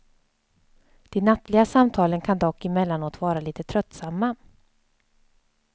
De nattliga samtalen kan dock emellanåt vara lite tröttsamma.